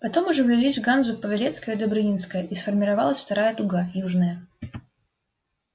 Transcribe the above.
потом уже влились в ганзу павелецкая и добрынинская и сформировалась вторая дуга южная